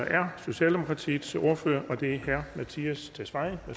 er socialdemokratiets ordfører og det er herre mattias tesfaye